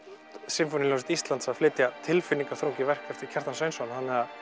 Sinfóníuhljómsveit Íslands að flytja tilfinningaþrungið verk eftir Kjartan Sveinsson